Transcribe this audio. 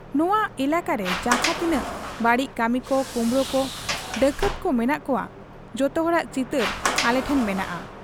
ᱱᱚᱶᱟ ᱮᱞᱟᱠᱟᱨᱮ ᱡᱟᱦᱟᱸ ᱛᱤᱱᱟᱹᱜ ᱵᱟᱹᱲᱤᱡ ᱠᱟᱹᱢᱤᱠᱚ, ᱠᱩᱢᱵᱽᱲᱩᱠᱚ, ᱰᱟᱠᱟᱛᱠᱚ ᱢᱮᱱᱟᱜ ᱠᱚᱣᱟ, ᱡᱚᱛᱚ ᱦᱚᱲᱟᱜ ᱪᱤᱛᱟᱹᱨ ᱟᱞᱮ ᱴᱷᱮᱫ ᱢᱮᱱᱟᱜ ᱟ ᱾